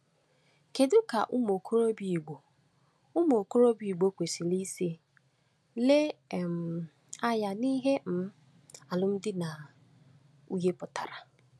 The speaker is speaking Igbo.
Kedu ka ụmụ okorobịa Igbo ụmụ okorobịa Igbo kwesịrị isi le um anya n’ihe um alụmdi na um nwunye pụtara?